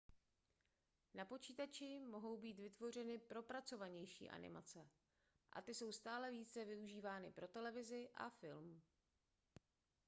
na počítači mohou být vytvořeny propracovanější animace a ty jsou stále více využívány pro televizi a film